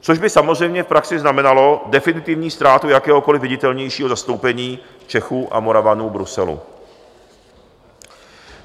Což by samozřejmě praxi znamenalo definitivní ztrátu jakéhokoliv viditelnějšího zastoupení Čechů a Moravanů v Bruselu.